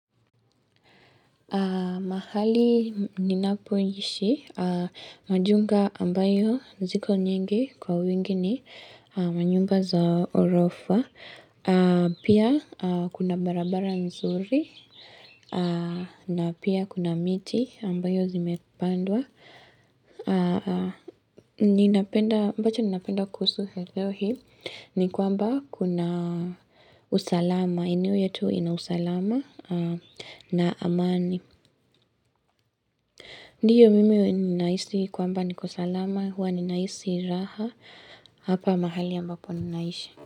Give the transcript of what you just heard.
Mahali ninapoishi, majunga ambayo ziko nyingi kwa wingi ni manyumba za ghorofa. Pia kuna barabara nzuri na pia kuna miti ambayo zimepandwa. Ambacho ninapenda kuhusu eneo hii ni kwamba kuna usalama. Maeneo yetu ina usalama na amani. Ndiyo, mimi ninahisi kwamba niko salama. Huwa ninahisi raha. Hapa mahali ambapo ninaishi.